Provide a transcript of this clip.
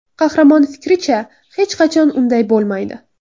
Qahramon fikricha, hech qachon unday bo‘lmaydi.